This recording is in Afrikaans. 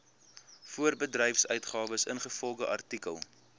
voorbedryfsuitgawes ingevolge artikel